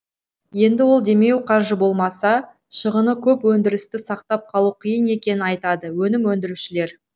енді ол демеу қаржы болмаса шығыны көп өндірісті сақтап қалу қиын екенін айтады өнім өндірушілер